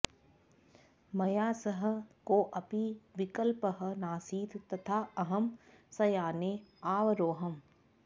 मया सह कोऽपि विकल्पः नासीत् तथा अहं संयाने आवरोहम्